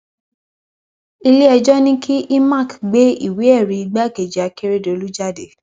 iléẹjọ ní kí imac gbé ìwéẹrí igbákejì akérèdọlù jáde